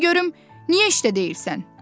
De görüm niyə işdə deyilsən?